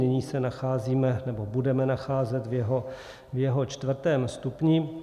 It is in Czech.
Nyní se nacházíme, nebo budeme nacházet, v jeho čtvrtém stupni.